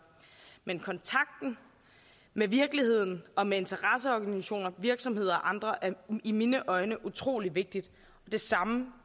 men kontakten med virkeligheden og med interesseorganisationer virksomheder og andre er i mine øjne utrolig vigtig og det samme